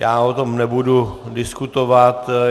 Já o tom nebudu diskutovat.